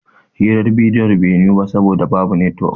Hirar bidiyon bai yiwu ba saboda babu netwok